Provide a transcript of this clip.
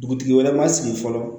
Dugutigi wɛrɛ ma sigi fɔlɔ